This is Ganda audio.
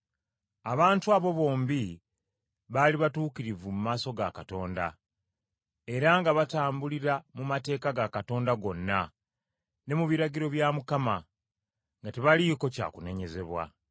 Abantu abo bombi baali batuukirivu mu maaso ga Katonda, era nga batambulira mu mateeka ga Katonda gonna, ne mu biragiro bya Mukama, nga tebaliiko kya kunenyezebwa.